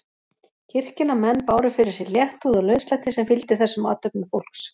Kirkjunnar menn báru fyrir sig léttúð og lauslæti sem fylgdi þessum athöfnum fólks.